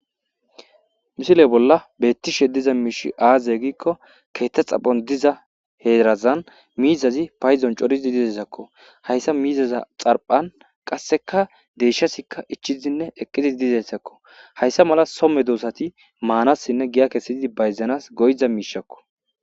misile bolla bettishe diza miish aaze giikko keetta xaphon diza heerazan miizazi payzon coriz dizesakko hayssa miizaza xarphan qasseka deeshasikka ichizinne eqqidi dizessakko hayssa mala somme duosati maanassinne giya kesii bayzanas goyza miishakko